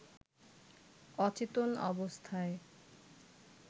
অচেতন অবস্থায়